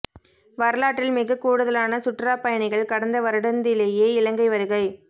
வரலாற்றில் மிகக் கூடுதலான சுற்றுலாப் பயணிகள் கடந்த வருடந்திலேயே இலங்கை வருகை